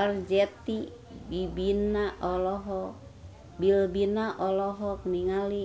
Arzetti Bilbina olohok ningali